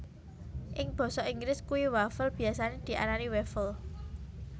Ing basa Inggris kue wafel biyasane diarani waffle